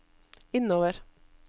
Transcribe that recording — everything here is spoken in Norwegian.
innover